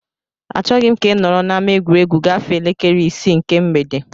Achọghị m ka ị nọrọ n'ama egwuregwu gafee elekere isii nke mgbede!